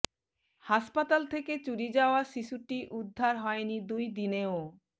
হাসপাতাল থেকে চুরি যাওয়া শিশুটি উদ্ধার হয়নি দুই দিনেও